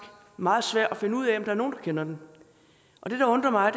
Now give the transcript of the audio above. meget svært at finde ud af om nogen kender den og det der undrer mig